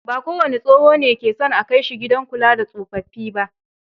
Ba kowane tsoho ne ke son a kai shi gidan kula da tsofaffi ba.